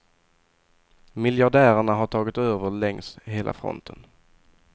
Miljardärerna har tagit över längs hela fronten.